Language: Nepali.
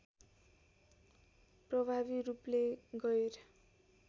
प्रभावी रूपले गैर